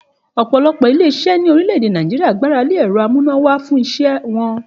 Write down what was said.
Òpòlopò ilé isé ní orílè-èdè Nàìjíríà gbáralé èro amúnáwá fún isé won